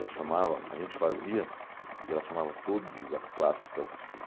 Ela chamava, a gente fazia, e ela chamava todas as clássicas para assistir.